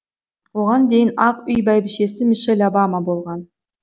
оған дейін ақ үй бәйбішесі мишель обама болған